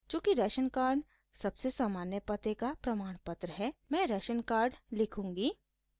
चूँकि ration card सबसे सामान्य पते का प्रमाणपत्र है मैं राशन कार्ड लिखूँगी